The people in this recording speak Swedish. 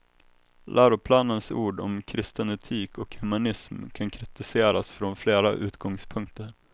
Läroplanens ord om kristen etik och humanism kan kritiseras från flera utgångpunkter.